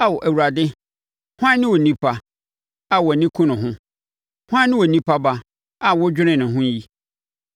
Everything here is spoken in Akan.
Ao Awurade, hwan ne onipa, a wʼani ku ne ho? Hwan ne onipa ba, a wodwene ne ho yi?